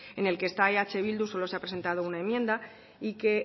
en el que está eh bildu solo se ha presentado una enmienda y que